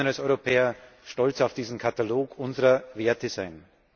Wir können als Europäer stolz auf diesen Katalog unserer Werte sein.